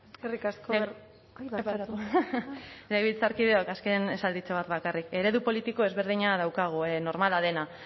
eskerrik asko barkatu legebiltzarkideok azken esalditxo bat bakarrik eredu politiko ezberdina daukagu normala dena